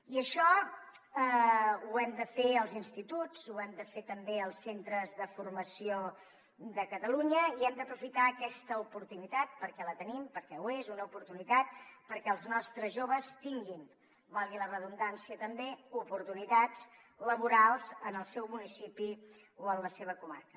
i això ho hem de fer als instituts ho hem de fer també als centres de formació de catalunya i hem d’aprofitar aquesta oportunitat perquè la tenim perquè ho és una oportunitat perquè els nostres joves tinguin valgui la redundància també oportunitats laborals en el seu municipi o en la seva comarca